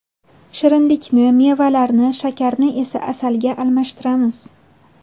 Shirinlikni mevalarga, shakarni esa asalga almashtiramiz.